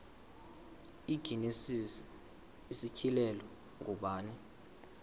igenesis isityhilelo ngubani